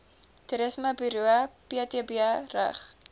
toerismeburo ptb rig